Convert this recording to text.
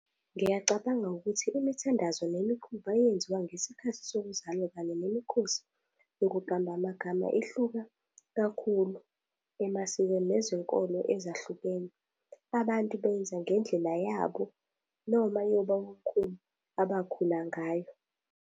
Ngiyacabanga ukuthi imithandazo nemikhuba eyenziwa ngesikhathi sokuzalwa kanye nemikhosi yokuqamba amagama ihluka kakhulu emasikweni nezinkolo ezahlukene. Abantu benza ngendlela yabo noma yabobamkhulu abakhula ngayo.